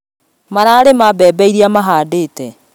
Mara rĩmĩra mbembe iria mahandĩte